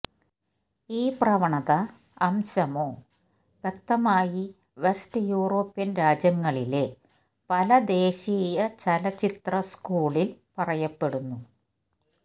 ഈ പ്രവണത അംശമോ വ്യക്തമായി വെസ്റ്റ് യൂറോപ്യൻ രാജ്യങ്ങളിലെ പല ദേശീയ ചലച്ചിത്ര സ്കൂളിൽ പറയപ്പെടുന്നു